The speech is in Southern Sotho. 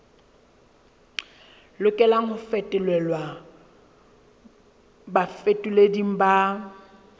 lokelang ho fetolelwa bafetoleding ba